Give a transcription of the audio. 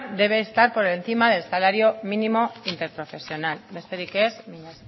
debe estar por encima del salario mínimo interprofesional besterik ez mila